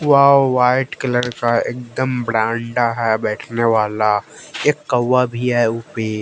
Wow white colour का एकदम ब्रांडा है बैठने वाला एक कौवा भी है उपे।